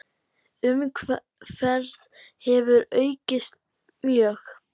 Umferð hefur aukist mjög.